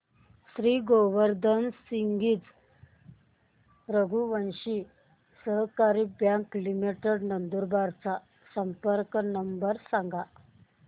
श्री गोवर्धन सिंगजी रघुवंशी सहकारी bank limited Nandurbar चा संपर्क नंबर सांगा